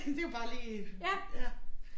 Det jo bare lige ja